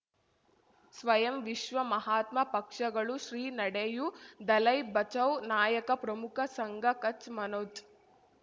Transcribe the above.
ಸ್ವಯಂ ವಿಶ್ವ ಮಹಾತ್ಮ ಪಕ್ಷಗಳು ಶ್ರೀ ನಡೆಯೂ ದಲೈ ಬಚೌ ನಾಯಕ ಪ್ರಮುಖ ಸಂಘ ಕಚ್ ಮನೋಜ್